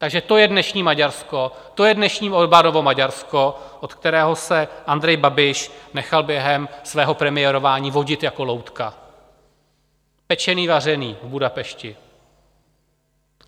Takže to je dnešní Maďarsko, to je dnešní Orbánovo Maďarsko, od kterého se Andrej Babiš nechal během svého premiérování vodit jako loutka, pečený vařený v Budapešti.